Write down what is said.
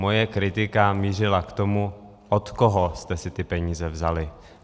Moje kritika mířila k tomu, od koho jste si ty peníze vzali.